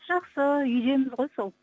жақсы үйдеміз ғой сол